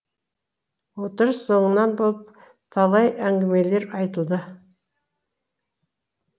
отырыс оңынан болып талай әңгімелер айтылды